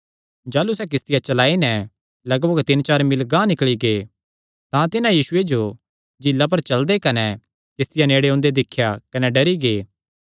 जाह़लू सैह़ किस्तिया चलाई नैं लगभग तीन चार मील गांह निकल़ी गै तां तिन्हां यीशुये जो झीला पर चलदे कने किस्तिया नेड़े ओंदे दिख्या कने डरी गै